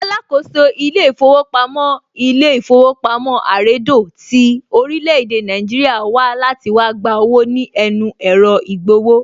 Alákòóso ilé ìfowópamọ́ ilé īfówopamí àredò tí orílẹ̀ èdè Nàìjíríà wá láti wá gba owó ní ẹnu ẹ̀rọ ìgbowó